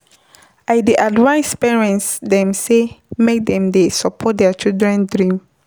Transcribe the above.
I dey advice parents dem sey make dem dey support their children dream.